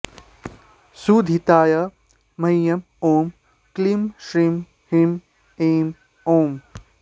क्षुधिताय मह्यं ॐ क्लीं श्रीं ह्रीं ऐं ॐ